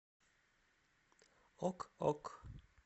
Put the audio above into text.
ок ок